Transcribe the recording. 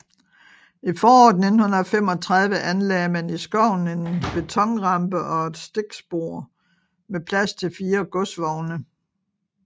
I foråret 1935 anlagde man i skoven en betonrampe og et stikspor med plads til 4 godsvogne